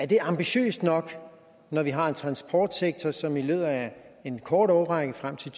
det ambitiøst nok når vi har en transportsektor som i løbet af en kort årrække frem til